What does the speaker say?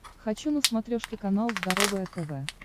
хочу на смотрешке канал здоровое тв